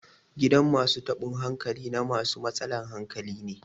gidan masu taban hankali na masu matsalan hankali ne